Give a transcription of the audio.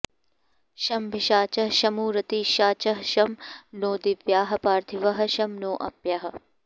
शमभिषाचः शमु रातिषाचः शं नो दिव्याः पार्थिवाः शं नो अप्याः